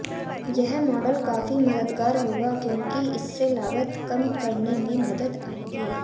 यह मॉडल काफी मददगार होगा क्योंकि इससे लागत कम करने में मदद आएगी